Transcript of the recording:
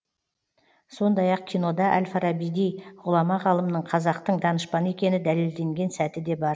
сондай ақ кинода әл фарабидей ғұлама ғалымның қазақтың данышпаны екені дәлелденген сәті де бар